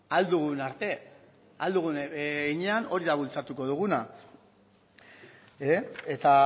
ahal dugun arte ahal dugun heinean hori da bultzatuko duguna eta